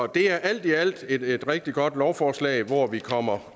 det er alt i alt et rigtig godt lovforslag hvor vi kommer